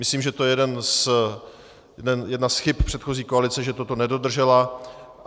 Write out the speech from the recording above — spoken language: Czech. Myslím, že to je jedna z chyb předchozí koalice, že toto nedodržela.